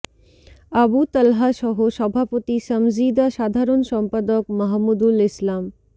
আবু তালহা সহ সভাপতি সামজীদা সাধারণ সম্পাদক মাহমুদুল ইসলাম